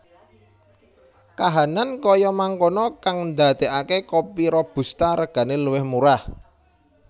Kahanan kaya mangkono kang ndadekake kopi robusta regane luwih murah